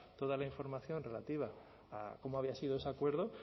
toda la información relativa a cómo había sido ese acuerdo